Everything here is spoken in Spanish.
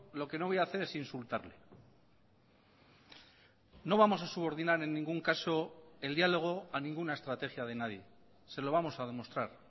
lo que no voy a hacer es insultarle no vamos a subordinar en ningún caso el diálogo a ninguna estrategia de nadie se lo vamos a demostrar